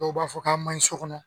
Dɔw b'a fɔ k'a man ɲi so kɔnɔ.